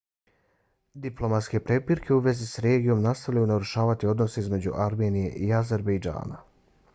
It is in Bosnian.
diplomatske prepirke u vezi s regijom nastavljaju narušavati odnose između armenije i azerbejdžana